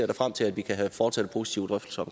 da frem til at vi kan fortsætte positive drøftelser